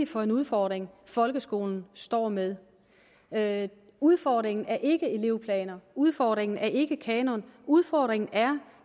for en udfordring folkeskolen står med med udfordringen er ikke elevplaner udfordringen er ikke kanon udfordringen er